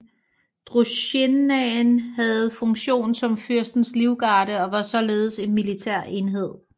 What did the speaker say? Drusjinaen havde funktion som fyrstens livgarde og var således en militær enhed